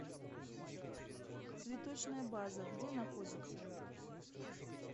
цветочная база где находится